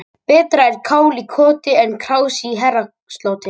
Betra er kál í koti en krás í herrasloti.